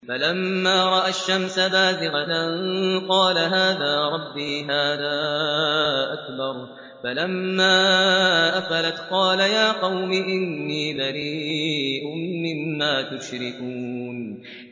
فَلَمَّا رَأَى الشَّمْسَ بَازِغَةً قَالَ هَٰذَا رَبِّي هَٰذَا أَكْبَرُ ۖ فَلَمَّا أَفَلَتْ قَالَ يَا قَوْمِ إِنِّي بَرِيءٌ مِّمَّا تُشْرِكُونَ